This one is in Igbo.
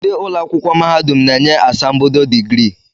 Ndị ụlọakwụkwọ mahadum na-enye asambodo digrii